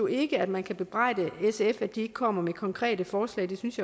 ikke at man kan bebrejde sf at de ikke kommer med konkrete forslag det synes